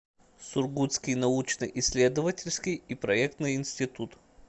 сургутский научно исследовательский и проектный институт